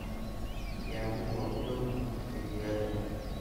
Kiambu waa u dhow kajiado?